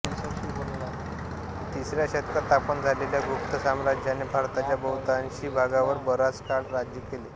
तिसऱ्या शतकात स्थापन झालेल्या गुप्त साम्राज्याने भारताच्या बहुतांशी भागावर बराच काळ राज्य केले